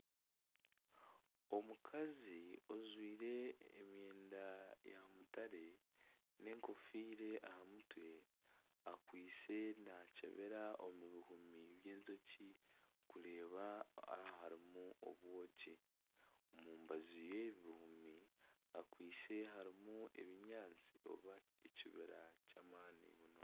Omukazi ojwire emyenda ya mutare, n'enkofiire aha mutwe, ariyo naakyebera omu bihumi by'enjoki kureeba yaaba harimu obwoki, omu rubaju rw'ebi bimuri harimu harimu ebinyaatsi nari ekibira ky'amaani